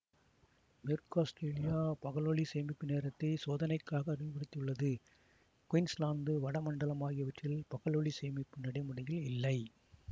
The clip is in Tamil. மேற்கு ஆஸ்திரேலியா பகலொளி சேமிப்பு நேரத்தை சோதனைக்காக அறிமுகப்படுத்தியுள்ளது குயின்ஸ்லாந்து வட மண்டலம் ஆகியவற்றில் பகலொளி சேமிப்பு நடைமுறையில் இல்லை